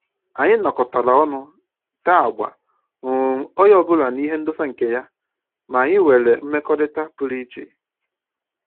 Anyị nọkọtara ọnụ tee agba, um onye ọbụla na ihe ndosa nke ya, ma anyị nwere mmekọrịta pụrụ iche